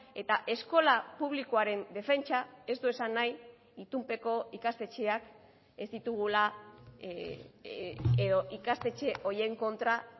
eta eskola publikoaren defentsa ez du esan nahi itunpeko ikastetxeak ez ditugula edo ikastetxe horien kontra